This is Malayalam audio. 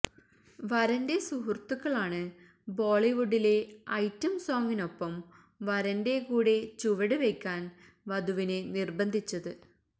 വരന്റെ സുഹൃത്തുക്കളാണ് ബോളിവുഡിലെ ഐറ്റം സോംഗിനൊപ്പം വരന്റെ കൂടെ ചുവടുവയ്ക്കാന് വധുവിനെ നിര്ബന്ധിച്ചത്